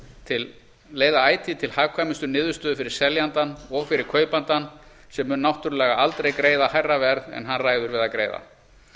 að leiða ætíð til hagkvæmustu niðurstöðu fyrir seljandann og fyrir kaupandann sem mun náttúrlega aldrei greiða hærra verð en hann ræður við að greiða